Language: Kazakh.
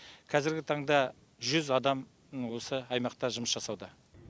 қазаргі таңда жүз адам осы аймақта жұмыс жасауда